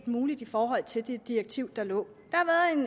muligt i forhold til det direktiv der lå